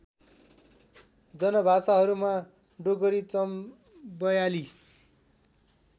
जनभाषाहरूमा Dogri Chambeali